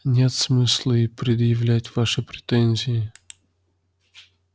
нет смысла и предъявлять ваши претензии